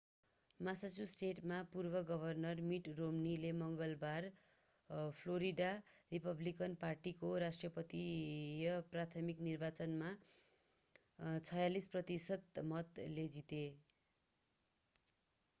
मासाचुसेटका पूर्व governor mitt romney ले मङ्गलबार फ्लोरिडा रिपब्लिकन पार्टीको राष्ट्रपतीय प्राथमिक निर्वाचनमा 46 प्रतिशत मतले जिते